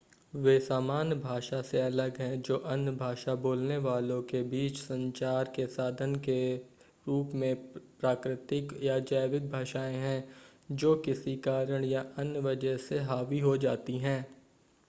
वे सामान्य भाषा से अलग हैं जो अन्य भाषा बोलने वालों के बीच संचार के साधन के रूप में प्राकृतिक या जैविक भाषाएं हैं जो किसी कारण या अन्य वजह से हावी हो जाती हैं